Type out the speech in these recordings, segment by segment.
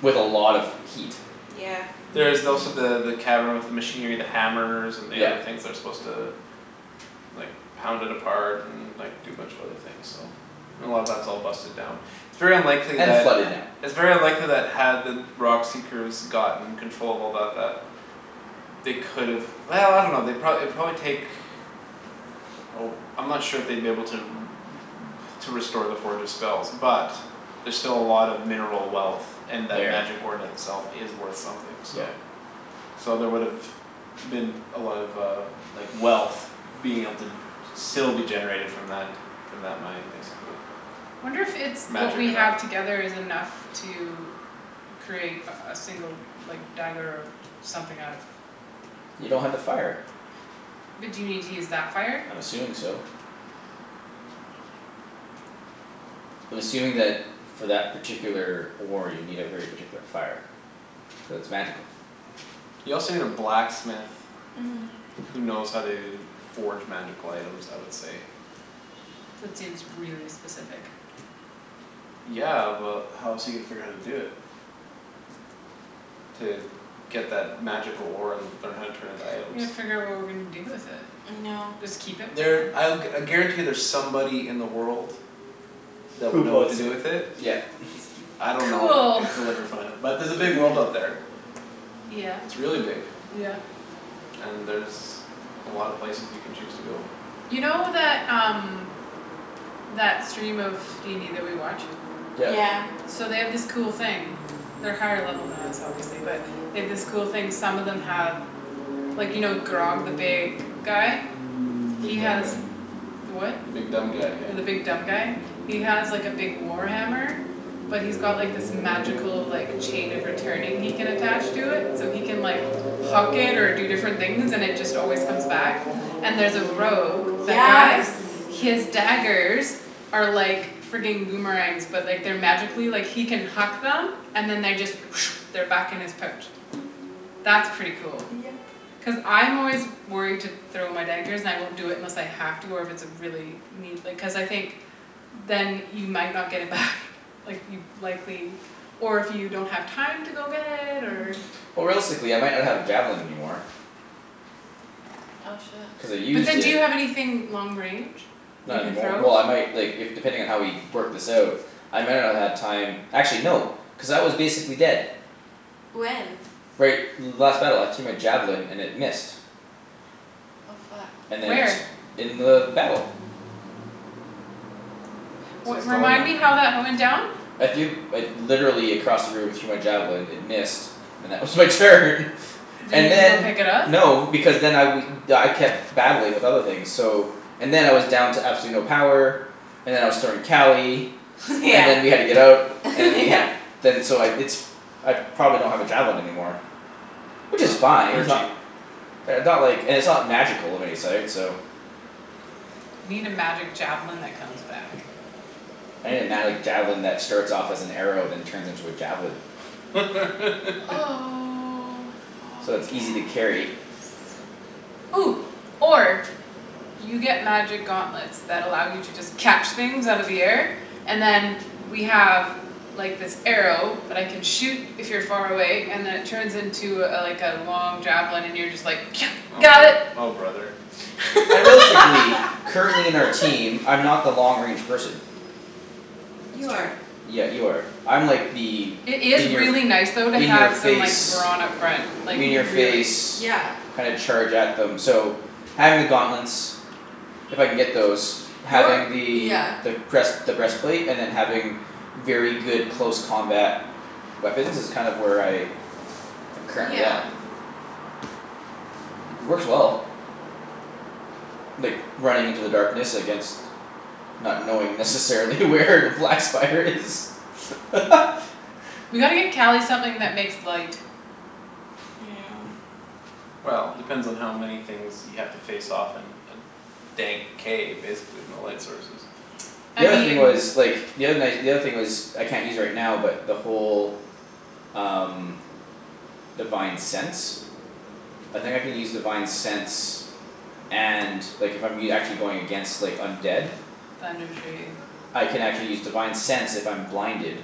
With a lot of heat. Yeah There's also the the cavern with the Machinery the hammers and the other Yep. things They're supposed to like Pound it apart and like do a bunch of other things so And a lot of that's all busted down It's very unlikely And flooded that now. It's very unlikely that had the rock seekers gotten controllable about that They could've I dunno they'd pro- it'd probably take Oh I'm not sure if they'd be able to r- r- To restore the forge's spells but There're still a lot of mineral wealth And that There magic ore in itself is worth something so Yep So there would've been a lot of uh like wealth Being able to still be generated from that From that mine basically. Wonder if it's what Magic we or have not together is enough to Create a a single like dagger something out of You don't have the fire. But do you need to use that fire? I'm assuming so. I'm assuming that for that particular ore you need a very particular fire. Cuz it's magical. You also need a blacksmith Mhm Who knows how to forge magical items I would say. That seems really specific. Yeah but how else are you gonna figure out how to do it? To get that magical ore and learn how to turn it into items. Yeah figure out what we're gonna do with it. No Just keep it for There now? I'll I guarantee there's somebody in the world. That Who would know what to wants do it? with it. Yeah It's j- I don't know Cool if you'll ever find him. But there's a big world out Yeah there. Yeah It's really big. yeah And there's a lot of places you can choose to go. You know that um That stream of DND that we watch? Yep Yeah So they have this cool thing They're higher level than us obviously but they have this cool thing some of them have Like you know Grogg the big guy? The He big dumb has guy the what? The big dumb guy yeah. The big dumb guy? He has like a big war hammer But he's got this magical like Chain of returning he can attach to it so he can like Huck it or do different things and it just always comes back And there's a rogue that guy Yes His daggers Are like frigging boomerangs but like they're like magically like he can huck them and then they just They're back in his pouch. That's pretty cool. Yep Cuz I'm always worried to throw my daggers and I won't do it unless I have to or if it's a really need like cuz I think Then you might not get it back Like you'd likely Or if you don't have time to go get it or Or realistically I might not have a javelin anymore. Oh shit. Cuz I But used then do it you have anything long range you Not can anymor- throw? Well I might like if depending on how we work this out. I might not have had time actually no cuz I was basically dead. When? Right last battle I threw my javelin and it missed. Oh fuck And then Where? it in the battle. So Well it's still remind in the me how that went down? I threw like literally across the room I threw my javelin it missed. And that was my turn. Did And you go then pick it up? no because then I we I kept battling with other things so And then I was down to absolutely no power And then I was throwing Cali Yeah And then we had to get out and then we yeah had to Then so I it's I probably don't have a javelin anymore. Which is fine They're it's not cheap. they're not like and it's not magical of any sort so You need a magic javelin that comes back. I need a magic javelin that starts off as an arrow then turns into a javelin. Oh Oh So yes it's easy to carry. Or You get magic gauntlets that allow you to just catch things out of the air And then we have like this arrow that I can shoot if you're far away and it turns into a like a long javelin and you're just like, Oh "got bro- it." oh brother. I realistically currently in our team I'm not the long range person. You That's true. are Yeah you are. I'm like the It is in your f- really nice though to In your have some like face brawn up front. Like In Mhm your really. face yeah kind of charge at them so having the gauntlets If I can get those You're having the yeah the breast the breastplate and then having Very good close combat weapons is kind of where I I'm currently at. Yeah Mhm Works well. Like running into the darkness against Not knowing necessarily where the black spider is We gotta get Cali something that makes light. Well depends on how many things you have to face off in a Dank cave basically with no light sources. I The other thing mean But was like the other night the other thing was I can't use right now but the whole Um divine sense I think I can use divine sense and like I'm e- actually if I'm going against undead. Thunder Tree. I can actually use divine sense if I'm blinded.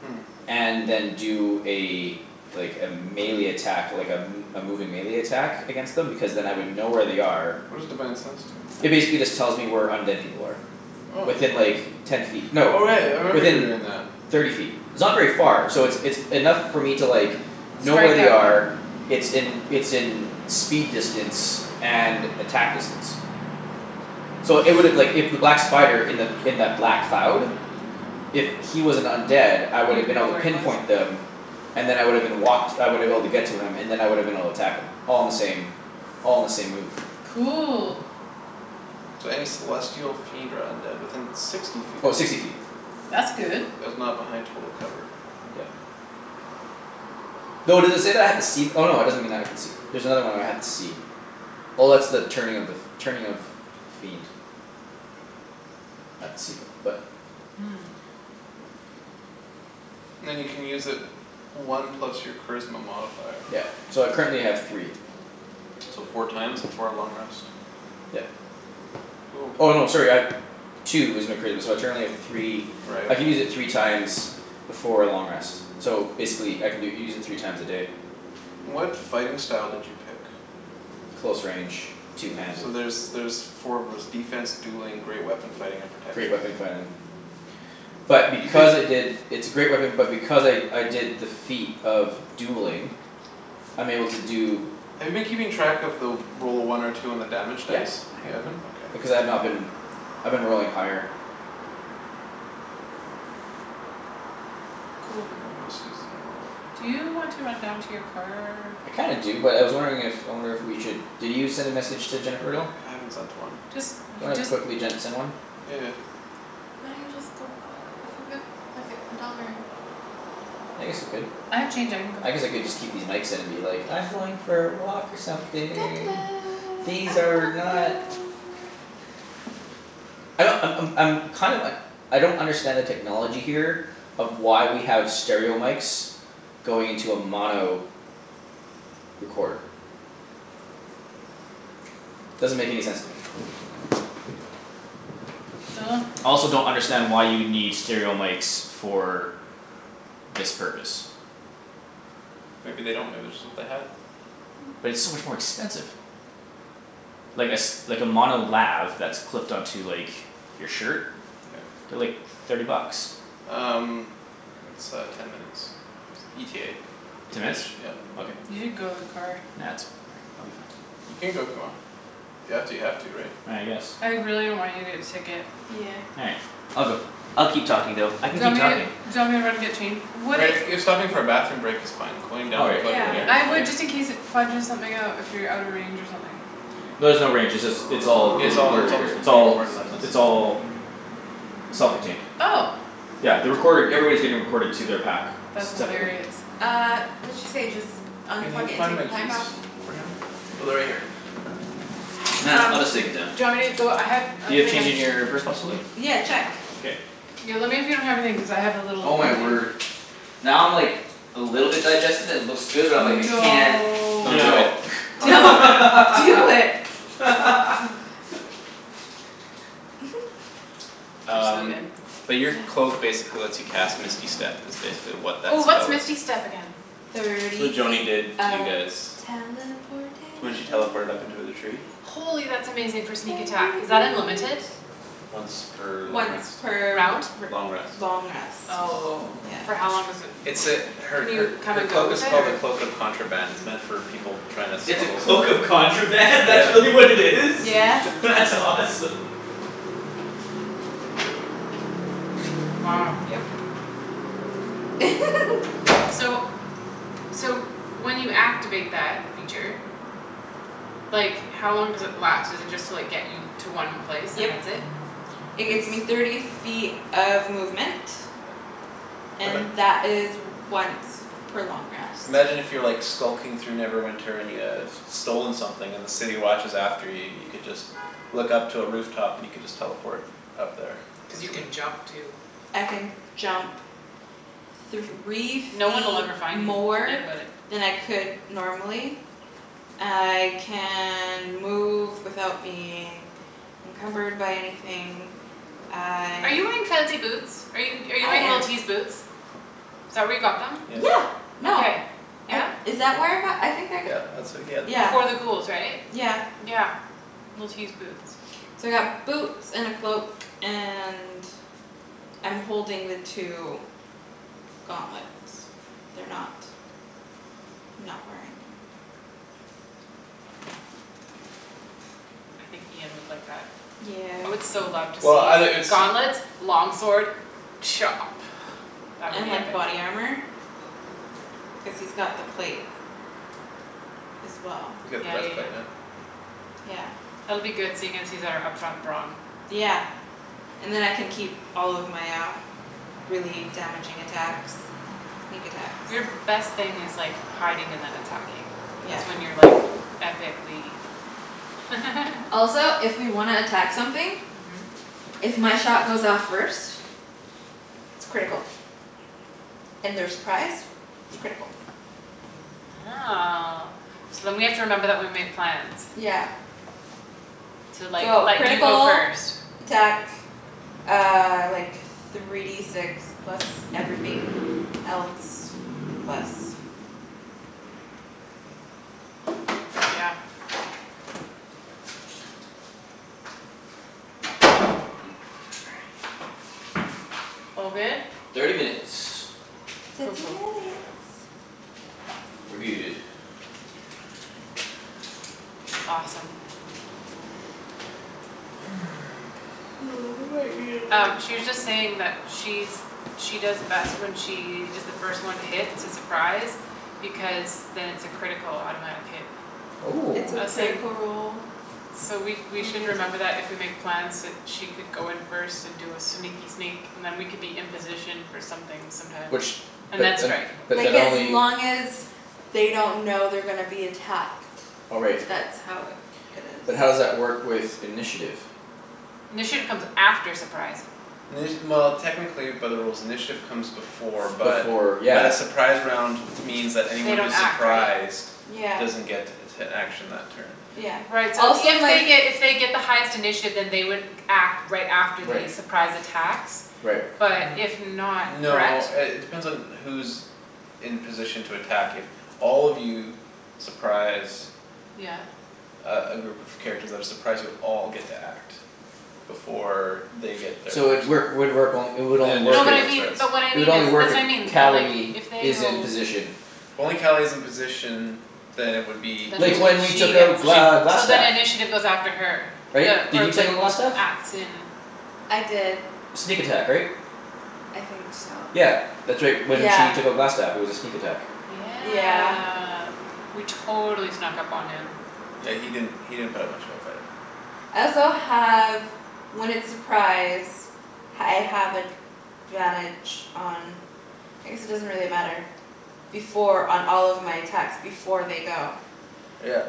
Hmm And then do a Like a melee attack like a m- a moving melee attack against them because then I would know where they are What does divine sense do? It basically just tells me where undead people are. Oh Within like ten feet no Oh right I remember you were within doing that. thirty feet. It's not very far. So it's it's enough for me to like Know where Strike they at them. are it's in it's in Speed distance and attack distance So it would've like if that black spider in that in the black cloud Mhm If he was an undead I would've You'd been able know to where he was. pinpoint them. And then I would've been walked I woulda been able to get to him and then I would've been able to attack him. All in the same all in the same move. Cool So any celestial fiend or undead within sixty feet Oh of sixty you. feet. That's good. That is not behind total cover. Yeah Though does it say that I have to see no it doesn't mean I can see There's another one where I have to see. Oh that's the turning of the f- turning of Fiend. I had to see them but Hmm Then you can use it One plus your charisma modifier. Yeah so I currently have three. So four times before a long rest. Yep. Cool Oh no sorry I have Two is my charisma so I currently have three Right I can use okay. it three times Before a long rest. So basically I can do it u- use it three times a day. What fighting style did you pick? Close range two handed So there's there's four of those, defense, dueling, great weapon fighting, and Great protection. weapon fighting. But You because I picked did It's a great weapon but because I I did defeat of dueling I'm able to do Have you been keeping track of the roll a one or two on the damage Yes dice? I You have it up. haven't? Okay. Because I've not been. I've been rolling higher Cool Then they must use in a roll. Do you want to run down to your car? I kinda do but I was wondering if I wonder if we should did you send a message to Jennifer at all? I haven't sent one. Just Do you you wanna just quickly send one? Yeah yeah Why don't you just go put a few buck like a dollar in? I guess I could. I have change I can go I guess I could just keep these mics in and be like I'm going for a walk or something. These are not I don't I'm I'm I'm kind of uh I don't understand the technology here Of why we have stereo mics Going into a mono recorder. Doesn't make any sense to me. Dunno I also don't understand why you would need stereo mics for This purpose. Maybe they don't maybe just what they had. But it's so much more expensive. Like a s- like a mono lav that's clipped on to like your shirt Yeah. they're like thirty bucks. Um It's uh ten minutes ETA to Ten minutes? finish yeah. Okay. You should go to the car. Nah that's all right I'll be fine. You can go if you want. If you have to you have to right? I guess I really don't want you to get a ticket. Yeah All right. I'll go. I'll keep talking though. I Do can you want keep me talking. do you want me to run and get change? Would Right it if if stopping for a bathroom break is fine, going All down right to plug Yeah your meter is I K. fine. would just in case it fudges something out if you're out of range or something. No there's no range. It's all Yeah it's getting all recorded it's right all here. just It's being all recorded on this. it's all Self contained. Oh Yeah the recording everybody's getting recorded to their pack. S- That's separately. hilarious Uh what'd she say just Can you unplug it and find take my the pack keys off? for him? Oh they're right here. Nah, Um I'll just take it down. do you want me to go I have a You have thing of change in your purse possibly? Yeah check K Yo lemme if you don't have a thing cuz I have a little Oh my container word. Now I'm like A little bit digested and it looks good but I'm like, "I can't" No Don't do No. it. Don't do it Don't man do it. Oh. They're so Um good but your cloak Yeah basically lets you cast misty step is basically what that Oh what's spell is. misty step again? It's what Thirty Joany feet did to you of guys. teleportation. When she teleported up to the tree Holy that's amazing for sneak attack. Is Thirty that unlimited? feet. Once per long Once rest. per r- Round? r- Long rest. long rest. Oh Yeah for how long does it It's l- a her can her you come her and go cloak is with it called a or? cloak of contraband It's meant for people tryin' to It's a smuggle. cloak of contraband? That's Yeah really what it is? Yeah That's awesome. Wow Yep So So when you activate that feature Like how long does it last? Does it just like get you to one place Yep. and that's it? It It's gets me thirty feet of movement. Um And a that is once per long rest. Imagine if you're skulking through Neverwinter and you have Stolen something and the city watch is after you you could just Look up to a roof top and you could just teleport Up there Cuz or you something. can jump too. I can jump Three No one'll feet ever find you. more Forget about it. than I could normally I can move without being Encumbered by anything Are I you wearing fancy boots? Are you I wearing am Li'l T's boots? Is that where you got them? Yeah Yeah no. Okay. I Yeah? is that where I got them? I think I g- Yeah that's where you got them. Yeah Before the ghouls right? yeah Yeah. Li'l T's boots. So I got boots and a cloak and I'm holding the two gauntlets they're not Not wearing them. I think Ian would like that. I would Yeah so love to Well outta see it's gauntlets long sword Chop. That would And be like epic. body armor Cuz he's got the plate as well You got the Yeah best yeah plate yeah man Yeah That'll be good seeing as he's our up front brawn. Yeah And then I can keep all of my uh really damaging attacks. Sneak attacks Your best thing is like hiding and then attacking. Yeah That's when you're like epicly Also if we wanna attack something. Mhm If my shot goes off first It's critical and they're surprised It's critical Oh so then we have to remember that when we make plans Yeah To like So let you go critical first. attack uh like Three D six plus everything else plus Yeah All good? Thirty minutes. Cool Thirty cool minutes. We're good. Awesome. I might need Um another she was just coffee. saying that she's She does best when she is the first one to hit it's a surprise. Because then it's a critical automatic hit. It's Oh a I was saying critical roll So we we on should the attack. remember that if we make plans that she could go in first and do a sneaky sneak And then we could be in position for something sometimes. Which And but then un- strike. Like but as only long as they don't know they're gonna be attacked. Oh right. That's how it it is But how does that work with initiative? Initiative comes after surprise. Well technically by the rules initiative Comes before but Before but yeah a Surprise round means that They anyone don't who's act, right? Surprised Yeah doesn't get An action that turn Yeah Right so also if my they f- get if they get the highest initiative then they would act right after Right. the surprise attacks Right. But if not N- no correct? uh it depends on who's In position to attack if All of you surprise Yeah Uh a group of characters that are surprised you'll all get to act Before they get their So it first work would work it would Then only work No initiative but if I wouldn't mean start but what I It would mean is only work that's if what I mean that like Cali if they is in rolled position. If only Cali is in position Then it would be Then Like just only when we she took out gets it she'd Gl- so then Glastaff. initiative goes after her. Right? The Did or you take like out Glastaff? acts in I did Sneak attack right? I think so Yeah that's right. When Yeah she took out Glastaff it was a sneak attack. Yeah Yeah we totally snuck up on him. Yeah he didn't he didn't put up that much of a fight. I also have when it's surprise I have advantage on I guess it doesn't really matter Before on all of my attacks before they go. Yeah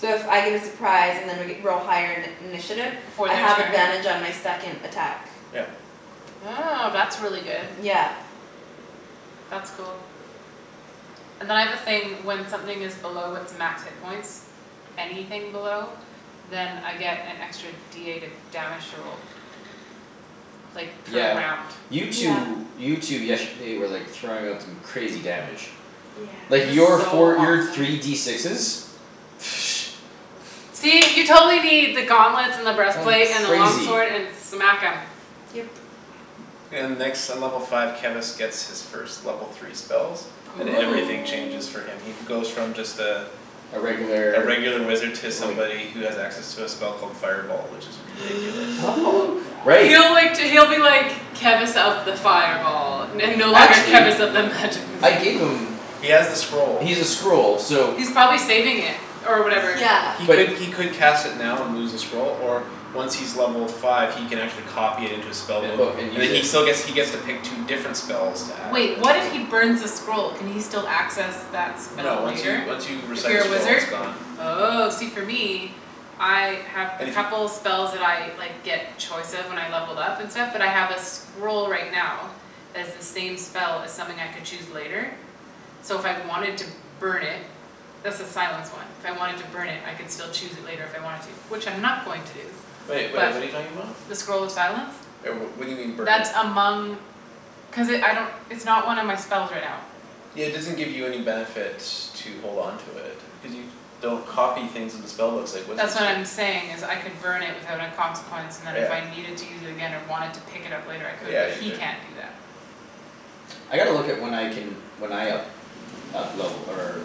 So if I get a surprise and I g- we're all higher in- initiative Before I their have turn? advantage on my second attack. Yeah Oh that's really good. Yeah That's cool And then I have a thing when something is below its max hit points Anything below Then I get an extra D eight of damage to roll. Like per Yeah round. you Yeah two you two yesterday were like throwing out some crazy damage. Like It was your Yes so four your awesome. three D sixes See you totally need the gauntlets and the That was breastplate and the long crazy. sword and smack 'em. Yep And next in level five Kevus gets his first level three spells And everything changes Oh for him. He goes from just uh A A regular regular wizard To like somebody who has access to a spell called Fireball which is ridiculous. Oh god Right He'll like d- he'll be like Kevus of the fireball And no longer Actually Kevus of the magic missile. I gave them He has the scroll. He's a scroll so He's probably saving it or whatever. He Yeah But could he could cast it now and lose the scroll Or once he's level five he can Actually copy it into his spell In book book and And then use he it. still gets he gets to pick two different spells to add Wait what if he burns the scroll? Can he still access that No spell once you later? once you If recite a you're a scroll it's wizard? gone. Oh see for me I have a And if you couple spells that I like get choice of when I levelled up and stuff but I have a scroll right now Has the same spell as something I could choose later So if I wanted to burn it That's the silence one. If I wanted to burn it I could still choose it later if I wanted to which I'm not going to do. Wait wait But what're you talking about? the scroll of silence Right well what do you mean burn it? That among Cuz it I don't it's not one of my spells right now. Yeah it doesn't give you any benefit to hold on to it Cuz you don't copy things into spellbooks Like wizards That's what do I'm saying is I could burn it without a consequence And then if I Yeah needed to use it again or wanted to pick it up later I could. Yeah you He could. can't do that I gotta look at when I can when I up up level or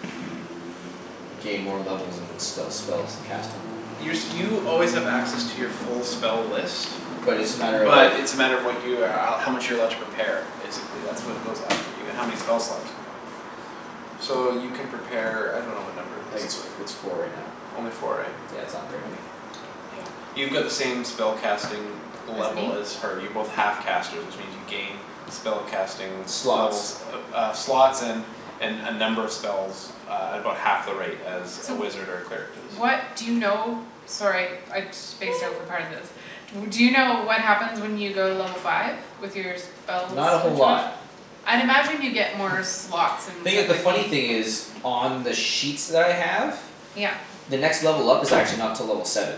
gain more levels and sp- spells and cast 'em Your you always have access to your full spell list But it's just a matter of like But it's a matter of what you uh how much you're allowed To prepare, basically that's what goes up for you and how many spell slots you have. So you can prepare I dunno what number it I is think it's but it's four right now Only four right? Yeah it's not very many. Yeah. You got the same spellcasting As Level me? as her. You're both half casters which means you gain Spell casting Slots levels uh slots and And uh number of spells uh At about half the rate as a So wizard or Cleric What does do you know? Sorry I spaced out for part of this. W- do you know what happens when you go to level five? With your spell Not a whole lot. situation? I'd imagine you get more slots and Thing i- stuff the like funny me. thing is On the sheets that I have Yep. The next level up is actually not till level seven.